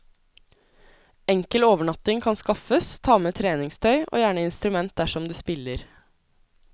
Enkel overnatting kan skaffes, ta med treningstøy, og gjerne instrument dersom du spiller.